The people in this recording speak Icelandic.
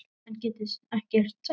En get ekkert sagt.